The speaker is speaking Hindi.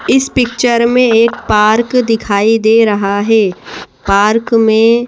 इस पिक्चर में एक पार्क दिखाई दे रहा है पार्क में--